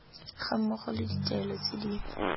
gammogo le ditaelo tse di